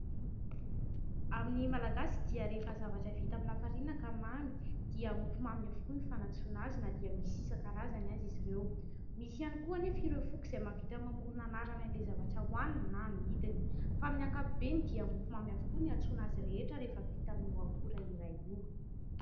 Amin'ny malagasy dia rehefa zavatra vita amin'ny lafarinina ka mamy dia mofomamy avokoa ny fanantsoana azy, na dia misy isan-karazany aza izy ireo. Misy ihany koa nefa ireo foko izay mahavita mamorona anarana an'ilay zavatra ohaniny na amidiny fa amin'ny ankapobeny dia mofomamy avokoa no iantsoana azy rehetra rehefa vita amin'io akora iray io.